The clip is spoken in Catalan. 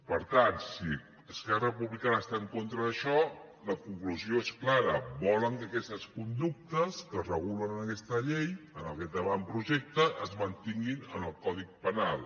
per tant si esquerra republicana està en contra d’això la conclusió és clara volen que aquestes conductes que es regulen en aquesta llei en aquest avantprojecte es mantinguin en el codi penal